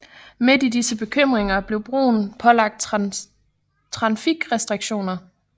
Midt i disse bekymringer blev broen pålagt trafikrestriktioner